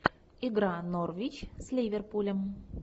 игра норвич с ливерпулем